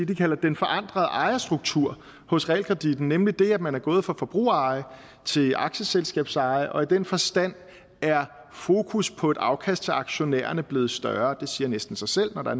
de kalder den forandrede ejerstruktur hos realkreditten nemlig det at man er gået fra forbrugereje til aktieselskabseje og i den forstand er fokus på et afkast til aktionærerne blevet større det siger næsten sig selv når der